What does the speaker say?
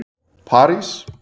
París